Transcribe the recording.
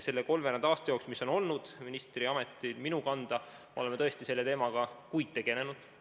Selle kolmveerand aasta jooksul, mil ministriamet on olnud minu kanda, oleme tõesti selle teemaga kuid tegelenud.